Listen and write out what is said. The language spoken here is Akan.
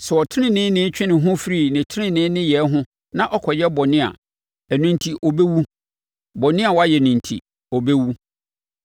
Sɛ ɔteneneeni twe ne ho firi ne tenenee nneyɛɛ ho na ɔkɔyɛ bɔne a, ɛno enti ɔbɛwu, bɔne a wayɛ enti, ɔbɛwu.